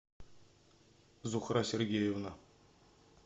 зухра сергеевна